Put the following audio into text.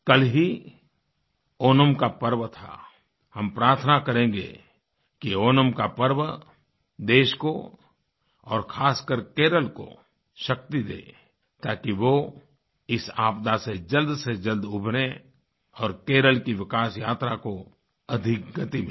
कल ही ओणम का पर्व था हम प्रार्थना करेंगे कि ओणम का पर्व देश को और ख़ासकर केरल को शक्ति दे ताकि वो इस आपदा से जल्द से जल्द उबरें और केरल की विकास यात्रा को अधिक गति मिले